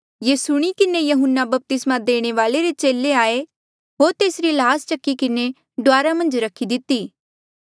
ये सुणी किन्हें यहून्ना बपतिस्मा देणे वाल्ऐ रे चेले आये होर तेसरी ल्हास चकी किन्हें डुआरा मन्झ रखी दिती